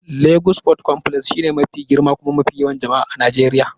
Lagos Port Complex shine mafi girma kuma mafi yawan jama'a a Najeriya.